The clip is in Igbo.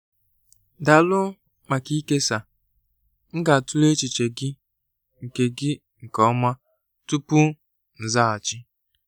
Daalụ maka ịkesa; m ga-atụle echiche gị nke gị nke ọma tupu m azaghachi.